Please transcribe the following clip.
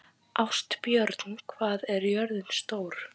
Ástbjörn, hvað er jörðin stór?